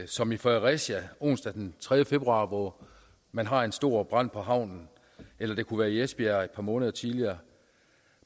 som i fredericia onsdag den tredje februar hvor man har en stor brand på havnen eller det kunne være i esbjerg et par måneder tidligere